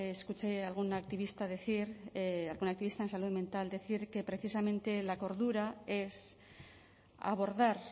escuché a algún activista decir a algún activista en salud mental decir que precisamente la cordura es abordar